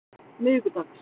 miðvikudags